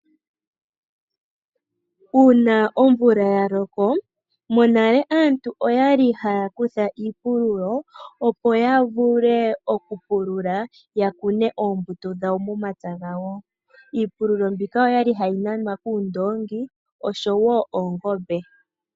Uuna omvula ya loko monale aantu oya li haya kutha iipululo opo ya vule okupulula, ya kune oombuto dhawo momapya gawo. Iipululo mbika okwa li hayi nanwa kuundongi oshowo oongombe.